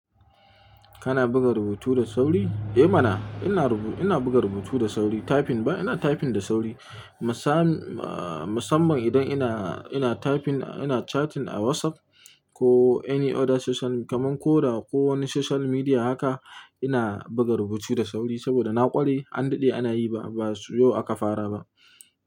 Kana buga rubutu da sauri? Eh mana ina rubu-- ina buga rubutu da sauri. Typing ba? Ina typing da sauri. Masam, ahh, musamman idan ina, ina typing, ina chatting a WhatsApp ko any other social kamar kora ko wani social media haka ina buga rubutu da sauri saboda na ƙware an daɗe ana yi ba, ba yau aka fara ba.